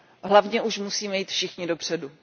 Hlavně už musíme jít všichni dopředu.